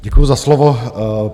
Děkuji za slovo.